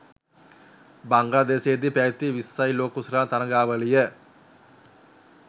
බංග්ලාදේශයේදී පැවැති විස්සයි ලෝක කුසලාන තරගාවලිය